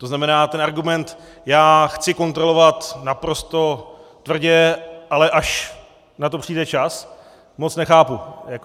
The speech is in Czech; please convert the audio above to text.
To znamená ten argument "já chci kontrolovat naprosto tvrdě, ale až na to přijde čas" moc nechápu.